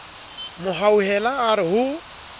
mo hauhela a re ho